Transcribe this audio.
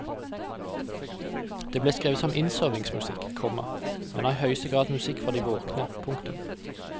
De ble skrevet som innsovningsmusikk, komma men er i høyeste grad musikk for de våkne. punktum